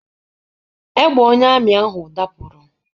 Egbe onye amị ahụ dapụrụ.